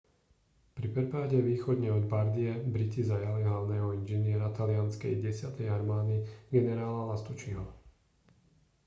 pri prepade východne od bardie briti zajali hlavného inžiniera talianskej desiatej armády generála lastucciho